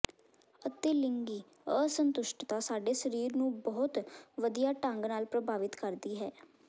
ਅਤੇ ਲਿੰਗੀ ਅਸੰਤੁਸ਼ਟ ਸਾਡੇ ਸਰੀਰ ਨੂੰ ਬਹੁਤ ਵਧੀਆ ਢੰਗ ਨਾਲ ਪ੍ਰਭਾਵਿਤ ਕਰਦੀ ਹੈ